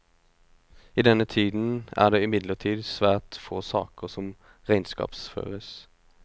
I denne tiden er det imidlertid svært få saker som regnskapsføres.